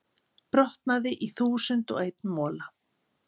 brotnaði í þúsund og einn mola.